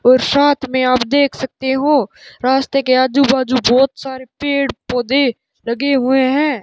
और साथ में आप देख सकते हो रास्ते के आजू बाजू बहोत सारे पेड़ पौधे लगे हुए हैं।